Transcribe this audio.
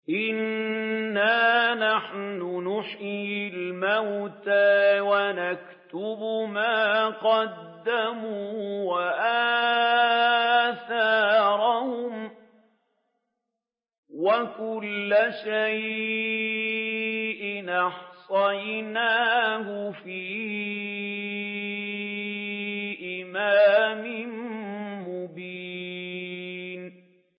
إِنَّا نَحْنُ نُحْيِي الْمَوْتَىٰ وَنَكْتُبُ مَا قَدَّمُوا وَآثَارَهُمْ ۚ وَكُلَّ شَيْءٍ أَحْصَيْنَاهُ فِي إِمَامٍ مُّبِينٍ